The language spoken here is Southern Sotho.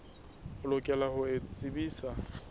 o lokela ho o tsebisa